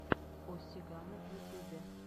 о сигано в ютубе